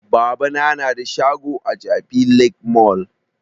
Babana na da shago a jabi lake mall